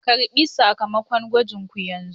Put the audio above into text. Ku ƙarɓi sakamakon gwajinku yanzun!